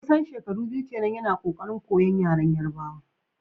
kusan shekaru biyu kenan yana kokarin koyon yaren Yarbawa.